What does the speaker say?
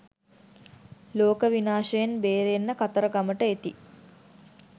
ලෝක විනාශයෙන් බේරෙන්න කතරගමට එති